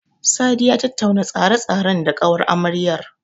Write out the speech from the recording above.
Sadi ya tattauna tsare-tsaren da ƙawar amaryar.